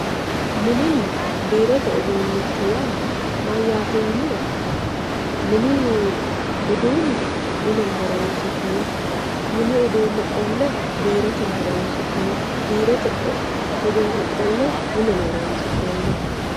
mininna biirote uduunicho yaa mayaate yiniro mini uduune mineno horonsi'neemo mini uduune qolle biroteno horonsi'neemo biirote uduune qolle mineno horonsi'neemoho.